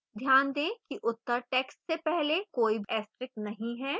ध्यान दें कि उत्तर text से पहले कोई asterix नहीं है